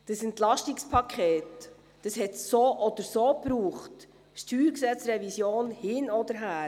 Das EP hat es so oder so gebraucht, StG-Revision hin oder her.